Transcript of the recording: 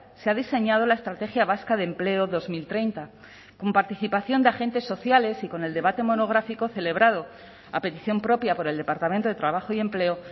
se ha diseñado la estrategia vasca de empleo dos mil treinta con participación de agentes sociales y con el debate monográfico celebrado a petición propia por el departamento de trabajo y empleo